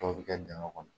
Dɔw bɛ kɛ dingɛ kɔnɔ